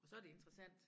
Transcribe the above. Så det interessant